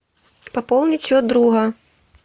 пополнить счет друга